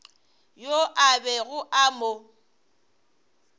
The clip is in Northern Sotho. yo a bego a mo